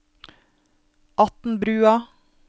Atnbrua